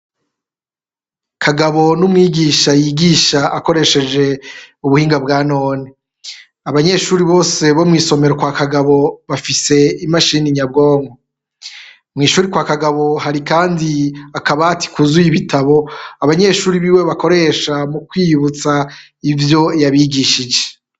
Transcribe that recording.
Kagabo n'umwigisha yigisha akoresheje ubuhinga bwa none, abanyeshure bose bo mw'isomero kwa kagabo bafise imashini nyabwonko, mw'ishure kwa Kagabo hari kandi akabati kuzuye ibitabo abanyeshure biwe bakoresha mu kwiyibutsa ivyo yabigishije.